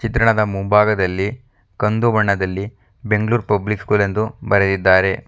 ಚಿತ್ರಣದ ಮುಂಭಾಗದಲ್ಲಿ ಕಂದು ಬಣ್ಣದಲ್ಲಿ ಬೆಂಗಳೂರು ಪಬ್ಲಿಕ್ ಸ್ಕೂಲ್ ಎಂದು ಬರೆದಿದ್ದಾರೆ.